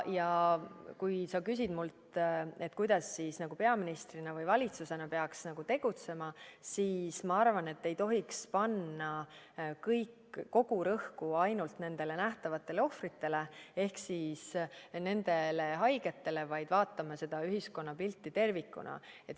Ja kui sa küsid mult, kuidas peaministrina või valitsusena peaks tegutsema, siis ma arvan, et ei tohiks panna rõhku ainult nendele nähtavatele ohvritele ehk haigetele, vaid vaatame seda ühiskonnapilti tervikuna.